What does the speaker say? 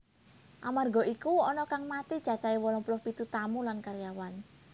Amarga iku ana kang mati cacahé wolung puluh pitu tamu lan karyawan